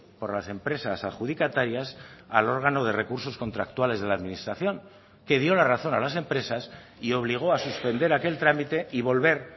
por las empresas adjudicatarias al órgano de recursos contractuales de la administración que dio la razón a las empresas y obligó a suspender aquel trámite y volver